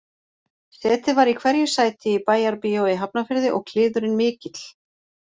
Setið var í hverju sæti í Bæjarbíói í Hafnarfirði og kliðurinn mikill